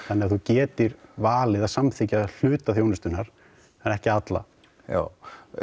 þannig að þú getir valið að samþykkja hluta þjónustunnar en ekki alla já